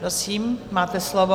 Prosím, máte slovo.